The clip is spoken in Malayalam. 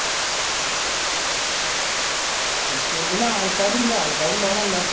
ആൾക്കാരുണ്ട് ആൾക്കാരില്ലന്നല്ല